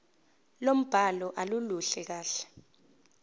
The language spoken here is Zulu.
lombhalo aluluhle kahle